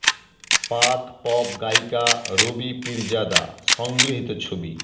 পাক পপ গায়িকা রবি পীরজাদা সংগৃহীত ছবি